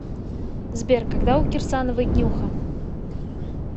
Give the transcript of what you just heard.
сбер когда у кирсановой днюха